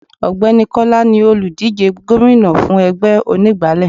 Ògbẹ́ni Kọ́lá ni òlùdíje gómìnà fún ẹgbẹ́ onígbálé.